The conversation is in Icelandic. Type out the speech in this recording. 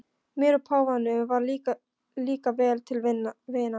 Mér og páfanum varð líka vel til vina.